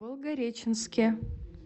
волгореченске